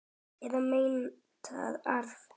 Eða meintan arf.